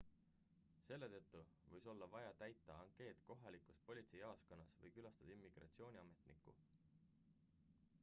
selle tõttu või olla vaja täita ankeet kohalikus politseijaoskonnas või külastada immigratsiooniametnikku